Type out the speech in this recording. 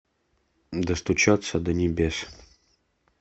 достучаться до небес